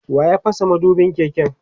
waya fasa madubin keken?